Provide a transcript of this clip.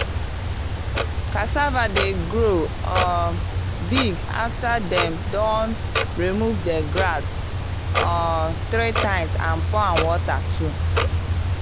cassava dey grow um big after them don remove the grass um three times and pour am water too.